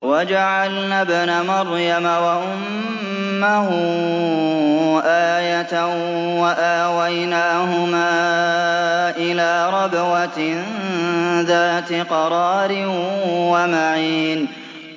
وَجَعَلْنَا ابْنَ مَرْيَمَ وَأُمَّهُ آيَةً وَآوَيْنَاهُمَا إِلَىٰ رَبْوَةٍ ذَاتِ قَرَارٍ وَمَعِينٍ